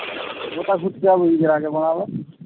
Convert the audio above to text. গোটা শুটকি আবার ঈদ এর আগে বানাবো